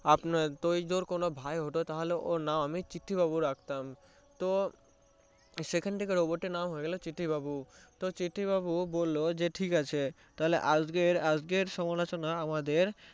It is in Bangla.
ওই ধর ও তোর কোনো ভাই হলে তাহলে ওর নাম আমি চিঠ্যিবাবু রাখতাম তো সেখান থেকে Robot টির নাম হয়ে গেলো চিঠ্যিবাবু তো চিঠ্যিবাবু বললোতো ঠিকাছে তো আজকে আজকের সমালোচনা আমাদের